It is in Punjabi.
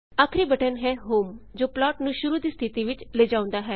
ਆਖਰੀ ਬਟਨ ਹੈ ਹੋਮ ਜੋ ਪਲਾਟ ਨੂੰ ਸ਼ੁਰੂ ਦੀ ਸਥਿਤੀ ਵਿੱਚ ਲਿਆਓੰਦਾ ਹੈ